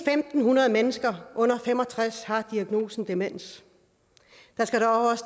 fem hundrede mennesker under fem og tres år har diagnosen demens der skal dog